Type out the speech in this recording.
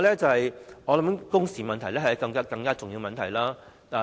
此外，工時問題是更重要的。